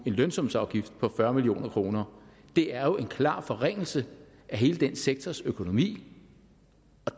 lønsumsafgift på fyrre million kroner det er jo en klar forringelse af hele den sektors økonomi